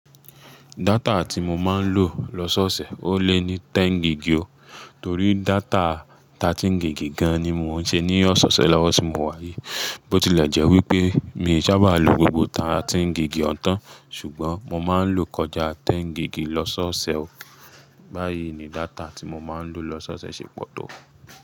Data tí mo máa ń lò lọ́ṣọ́ọ̀ṣẹ̀ ó lé ní tẹ́n gígi o. Torí data 13 gígi gan an ni mo ṣe ní ọ̀ṣọ́ṣẹ̀ lọ́wọ́ tí mo wá yìí. Bó tilẹ̀ jẹ́ wípé mi sá bá lo gbogbo 13 gígi ọ̀hun tan, ṣùgbọ́n mo máa ń lo kọjá tẹ́n gígi lọ́ṣọ́ọ̀ṣẹ̀ o. Báyìí ni data tí mo máa ń lò lọ́ṣọ́ọ̀ṣẹ̀ ṣe pọ̀ tó.